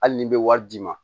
Hali ni bɛ wari d'i ma